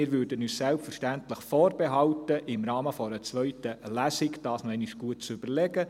Wir würden uns selbstverständlich vorbehalten, dies im Rahmen einer zweiten Lesung noch einmal gut zu überdenken.